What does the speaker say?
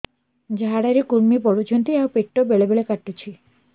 ଝାଡା ରେ କୁର୍ମି ପଡୁଛନ୍ତି ଆଉ ପେଟ ବେଳେ ବେଳେ କାଟୁଛି